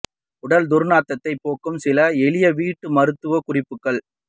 உடல் துர் நாற்றத்தை போக்க சில எளிய வீட்டு மருத்துவ குறிப்புகள்